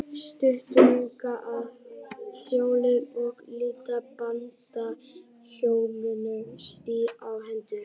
Stuttu síðar sögðu Þjóðverjar og Ítalir Bandaríkjamönnum stríð á hendur.